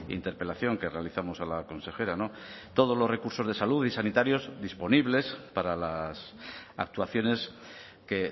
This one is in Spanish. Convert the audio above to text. interpelación que realizamos a la consejera todos los recursos de salud y sanitarios disponibles para las actuaciones que